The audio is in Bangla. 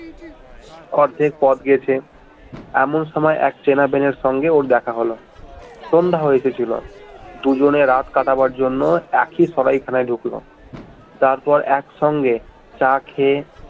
অর্ধেক পথ গেছে এমন সময় এক চেনা ভেনে সঙ্গে ওর দেখা হলো সন্ধ্যা হয়ে এসেছিল দুজনের রাত কাটাবার জন্য একই সরায়খানায় ঢুকল তারপর এক সঙ্গে চা খেয়ে